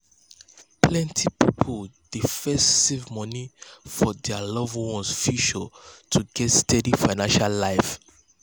plenty people dey first save money for dir loved ones' future to get steady financial life.